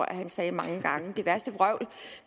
at han sagde mange gange det værste vrøvl